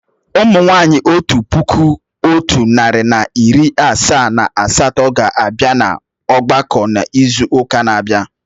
Ụmụ nwanyị otu puku otu nari na iri asaa na asatọ ga abịa na ọgbakọ n'izu uka na abia